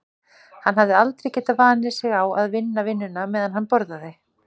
Hann hafði aldrei getað vanið sig á að sinna vinnunni meðan hann borðaði.